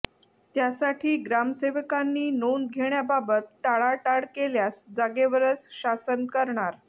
त्यासाठी ग्रामसेवकांनी नोंद घेण्याबाबत टाळाटाळ केल्यास जागेवरच शासन करणार